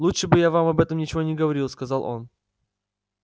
лучше бы я вам об этом ничего не говорил сказал он